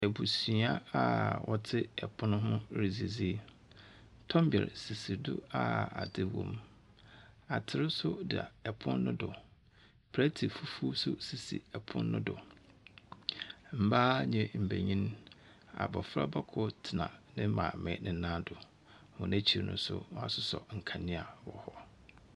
Ebusua a wɔtse pon ho ridzidzi. Tombɛr sisi do a adze wɔ mu. Ater nso da pon no do. Plɛte fufuw nso sisi pon no do. Mbaa nye mbenyin, abofraba kor tsena ne maame ne nam do. Hɔn ekyir no nso, wɔasosɔ nkandzea wɔ hɔ.